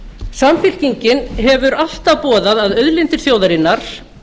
samfylkingin hefur alltaf boðað að auðlindir þjóðarinnar